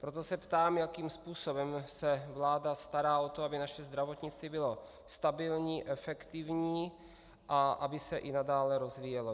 Proto se ptám, jakým způsobem se vláda stará o to, aby naše zdravotnictví bylo stabilní, efektivní a aby se i nadále rozvíjelo.